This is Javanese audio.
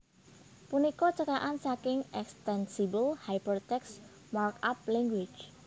punika cekakan saking eXtensible HyperText Markup Language